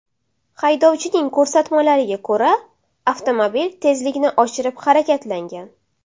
Haydovchining ko‘rsatmalariga ko‘ra, avtomobil tezlikni oshirib harakatlangan.